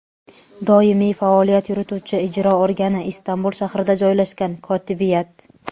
doimiy faoliyat yurituvchi ijro organi – Istanbul shahrida joylashgan Kotibiyat.